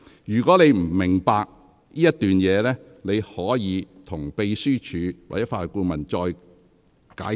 "如果你不明白這段內容，你可請秘書處或法律顧問再向你解釋。